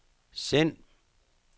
send